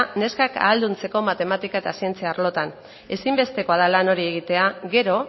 neskak ahalduntzeko matematika eta zientzia arloetan ezinbestekoa da lan hori egitea gero